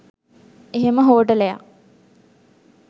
එහෙම හෝටලයක්